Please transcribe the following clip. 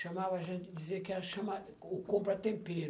Chamava a gente, dizia que era chamar o